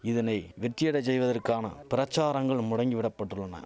இதனை வெற்றியடச் செய்வதற்கான பிரச்சாரங்கள் முடங்கி விடப்பட்டுள்ளன